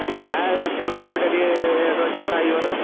ନା ଏ ଫୁଲକୋବି ଟା ଟିକେ rate ଅଛି ବାଇଗଣ।